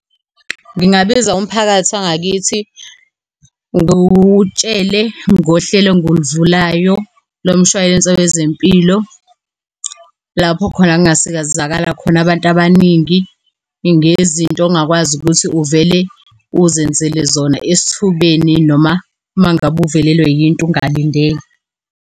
Ngingabiza umphakathi wangakithi, ngutshele ngohlelo enguluvulayo lo mshwalense wezempilo lapho khona ngasizakala khona abantu abaningi ngezinto ongakwazi ukuthi uvele uzenzele zona esithubeni, noma uma ngabe uvelelwa yinto ungalindele.